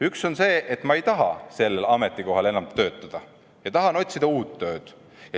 Üks on see, et ma ei taha enam sellel ametikohal töötada ja tahan otsida uut tööd.